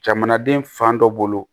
Jamanaden fan dɔ bolo